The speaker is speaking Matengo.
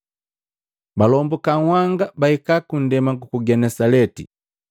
Balombuka nhanga, bahika kundema guku Genesaleti.